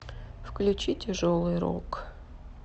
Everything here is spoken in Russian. включи тяжелый рок